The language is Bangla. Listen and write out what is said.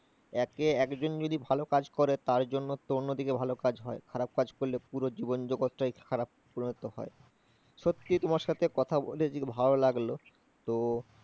একে একজন যদি ভালো কাজ করে তার জন্য তো অন্যদিকে ভালো কাজ হয়, খারাপ কাজ করলে পুরো জীবন জগতটাই খারাপ পরিণত হয়। সত্যি তোমার সাথে কথা বলে ভালো লাগলো তো